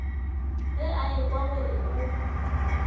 ge a ekwa gore o